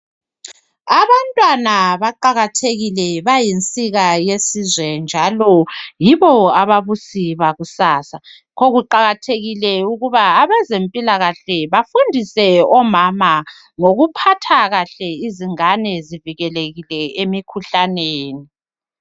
abantwana baqakathekile bayinsika yelizwe njalo yibo ababusi bakusasa yikho kuqakathekile ukuba abezempilakahle bafundise omama ngokuphatha kahle izingane zivikelekile emikhuhlaneni